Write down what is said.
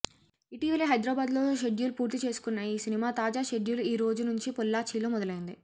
ఇటీవలే హైదరాబాద్లో షెడ్యూల్ పూర్తి చేసుకున్న ఈ సినిమా తాజా షెడ్యూల్ ఈ రోజు నుంచి పొల్లాచ్చిలో మొదలైంది